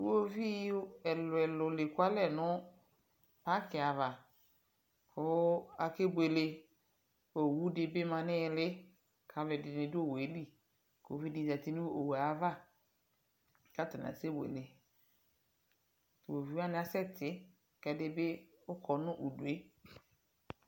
iwɔviʋ ɛlʋɛlʋ diɛkʋalɛ nʋ parki aɣa, kʋ akɛ bʋɛlɛ, ɔwʋ dibi manʋ ili kʋ alʋɛdini dʋ ɔwʋɛ li, ʋvi di zati nʋ ɔwʋɛ aɣa kʋ atani asɛ bʋɛlɛ, iwɔviʋ wani asɛ ti, ɛdibi kɔnʋ ʋdʋɛ